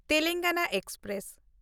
Telangana express